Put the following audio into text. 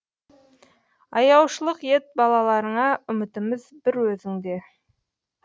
аяушылық ет балаларыңа үмітіміз бір өзіңде